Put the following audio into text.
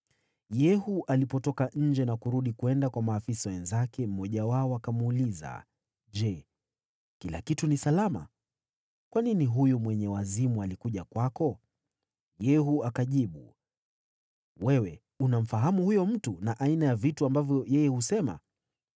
Yehu alipotoka nje na kurudi kwenda kwa maafisa wenzake, mmoja wao akamuuliza, “Je, kila kitu ni salama? Kwa nini huyu mwenye wazimu alikuja kwako?” Yehu akajibu, “Wewe unamfahamu huyo mtu, na aina ya mambo ambayo yeye husema.”